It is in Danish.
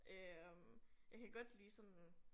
Øh jeg kan godt lide sådan